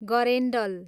गरेन्डल